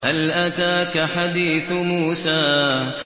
هَلْ أَتَاكَ حَدِيثُ مُوسَىٰ